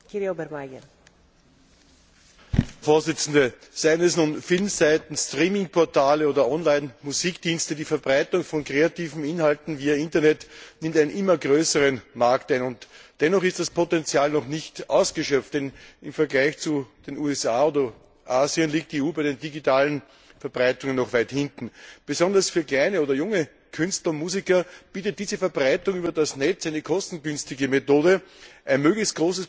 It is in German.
Frau Präsidentin! Seien es nun Filmseiten, Streamingportale oder Online Musikdienste, die Verbreitung von kreativen Inhalten via Internet nimmt einen immer größeren Markt ein. Dennoch ist das Potential noch nicht ausgeschöpft, und im Vergleich zu den USA oder Asien liegt die EU bei der digitalen Verbreitung noch weit hinten. Besonders für kleinere oder junge Künstler und Musiker bietet diese Verbreitung über das Netz eine kostengünstige Methode, ein möglichst großes Publikum zu erreichen.